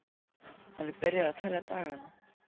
Hann er byrjaður að telja dagana.